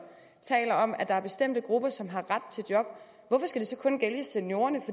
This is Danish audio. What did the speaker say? taler om at der er bestemte grupper som har ret til job hvorfor skal det så kun gælde seniorerne